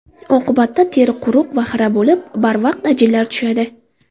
Oqibatda teri quruq va xira bo‘lib, barvaqt ajinlar tushadi.